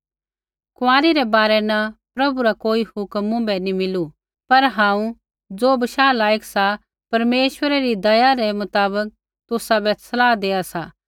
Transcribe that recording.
कुँआरी रै बारै न प्रभु रा कोई हुक्म मुँभै नी मिलु पर हांऊँ ज़ो बशाह लायक सा परमेश्वरा री दया रै मुताबक तुसाबै सलाह देआ सा